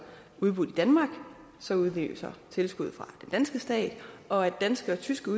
udbudt i danmark så udløser tilskud fra den danske stat og at danske og tyske